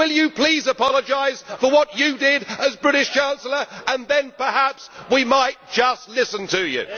Will you please apologise for what you did as British Chancellor, and then perhaps we might just listen to you?